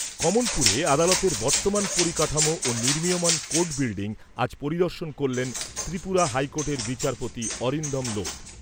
কমলপুরে আদালতের বর্তমান পরিকাঠামো ও নির্মিয়মাণ কোর্ট বিল্ডিং আজ পরিদর্শন করলেন ত্রিপুরা হাইকোর্টের বিচারপতি অরিন্দম লোধ।